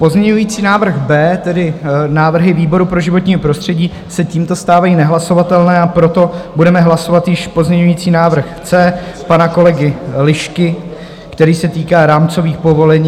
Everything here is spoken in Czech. Pozměňovací návrh B, tedy návrhy výboru pro životní prostředí, se tímto stávají nehlasovatelné, a proto budeme hlasovat již pozměňovací návrh C pana kolegy Lišky, který se týká rámcových povolení.